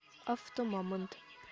автомамонт